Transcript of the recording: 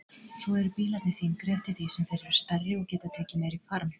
Svo eru bílarnir þyngri eftir því sem þeir eru stærri og geta tekið meiri farm.